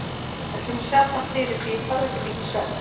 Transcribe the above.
En það kemur sjaldan fyrir, því ég þarf ekki mikinn svefn.